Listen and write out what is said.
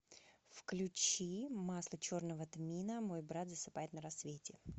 включи масло черного тмина мой брат засыпает на рассвете